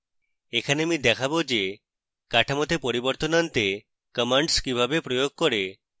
এখানে আমি দেখাবো যে কাঠামোতে পরিবর্তন আনতে commands কিভাবে প্রয়োগ করে